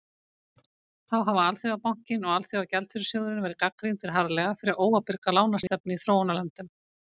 þá hafa alþjóðabankinn og alþjóðagjaldeyrissjóðurinn verið gagnrýndir harðlega fyrir óábyrga lánastefnu í þróunarlöndum